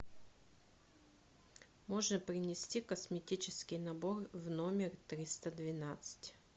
можно принести косметический набор в номер триста двенадцать